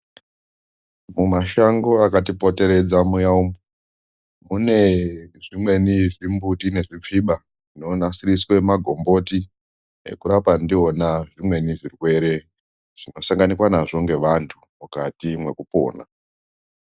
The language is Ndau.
Mumashango akati poteredza muya umu, mune zvimweni zvimu mbuti nezvipfiba zvino nasiriswe magomboti, ekurapa ndiwona zvimweni zvirwere zvino sanganikwa nazvo ngevantu mukati mweku pona.